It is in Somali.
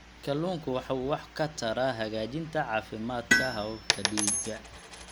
Kalluunku waxa uu wax ka taraa hagaajinta caafimaadka hababka dhiigga.